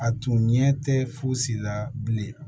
A tun ɲɛ tɛ fosi la bilen